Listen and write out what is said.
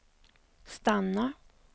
stanna